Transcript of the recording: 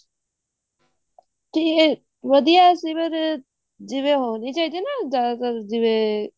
ਜੀ ਵਧੀਆ ਸੀ ਪਰ ਜਵੇਂ ਹੋਣੀ ਚਾਹੀਦੀ ਆ ਨਾ ਜਿਆਦਾਤਰ ਜਿਵੇਂ